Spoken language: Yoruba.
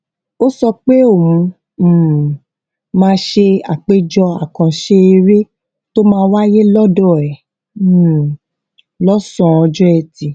ó sọ pé òun um máa ṣe àpéjọ àkànṣe eré tó máa wáyé lọdọ ẹ um lósàn án ọjọ ẹtì